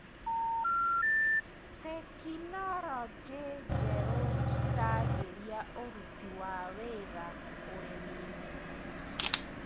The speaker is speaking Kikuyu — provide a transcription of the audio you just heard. Tekinologĩ njerũ ciragĩria ũruti wa wĩra ũrĩminĩ.